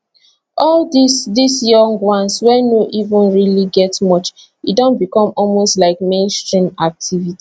all dis dis young ones wey no even really get much e don become almost like mainstream activity